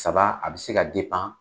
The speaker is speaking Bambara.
Saba a bɛ se ka